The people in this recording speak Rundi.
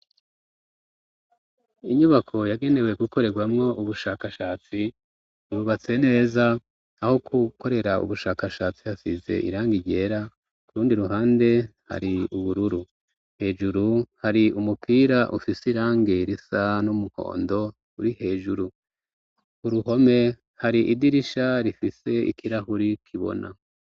Inyubako yagenewe gukorerwamwo ubushakashatsi, yubatse neza, aho gukorera ubushakashatsi hasize irangi ryera, ku rundi ruhande hari ubururu. Hejuru hari umupira ufise irangi risa n'umuhondo, uri hejuru. Ku ruhome, hari idirisha rifise ikirahuri kibona.